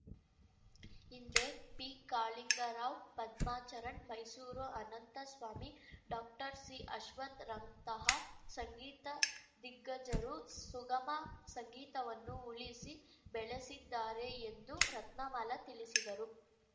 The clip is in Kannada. ಹಿಂದೆ ಪಿಕಾಳಿಂಗರಾವ್‌ ಪದ್ಮಾಚರಣ್‌ ಮೈಸೂರು ಅನಂತಸ್ವಾಮಿ ಡಾಕ್ಟರ್ಸಿಅಶ್ವಥ್‌ರಂತಹ ಸಂಗೀತ ದಿಗ್ಗಜರು ಸುಗಮ ಸಂಗೀತವನ್ನು ಉಳಿಸಿ ಬೆಳೆಸಿದ್ದಾರೆ ಎಂದು ರತ್ನಮಾಲ ತಿಳಿಸಿದರು